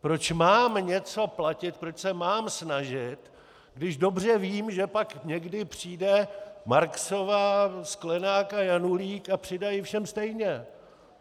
Proč mám něco platit, proč se mám snažit, když dobře vím, že pak někdy přijde Marksová, Sklenák a Janulík a přidají všem stejně.